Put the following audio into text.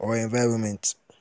or environment